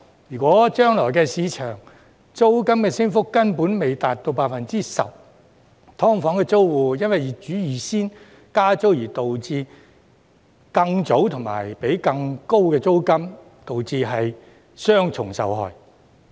如果將來的市場租金升幅根本未達到 10%，" 劏房"租戶因為業主預先加租而導致更早和要支付更高的租金，導致雙重受害。